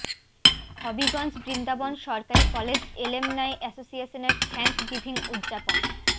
হবিগঞ্জ বৃন্দাবন সরকারী college alumni এসোসিয়েশনের thanksgiving উদযাপন